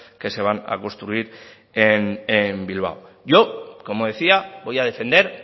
que se van a construir en bilbao yo como decía voy a defender